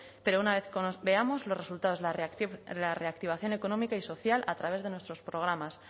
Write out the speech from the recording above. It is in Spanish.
pero una vez veamos los resultados de la reactivación económica y social a través de nuestros programas